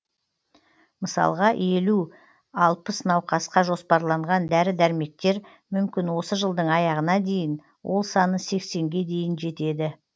мысалға елу алпыс науқасқа жоспарлаған дәрі дәрмектер мүмкін осы жылдың аяғына дейін ол саны сексенге дейін жетеді